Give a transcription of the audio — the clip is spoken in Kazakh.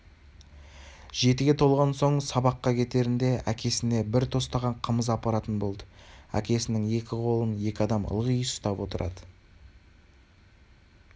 жетіге толған соң сабаққа кетерінде әкесіне бір тостаған қымыз апаратын болды әкесінің екі қолын екі адам ылғи ұстап отырады